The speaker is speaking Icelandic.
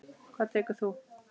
Hvað tekur þú?